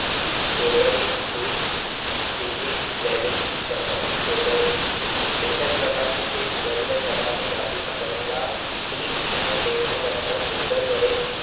soldring brig welding ની સમાજ એક જ પ્રકારની કે જુદા-જુદા પ્રકારની ધાતુના બનેલા ભાગોને ટિન અને લેડના બનેલા Solder વડે